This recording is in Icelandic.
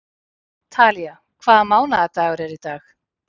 Talía, hvaða mánaðardagur er í dag?